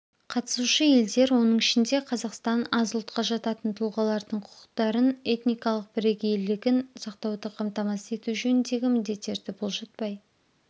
қатысушы елдер оның ішінде қазақстан аз ұлтқа жататын тұлағалардың құқықтарын этникалық бірегейлігін сақтауды қамтамасыз ету жөніндегі міндеттерді бұлжытпай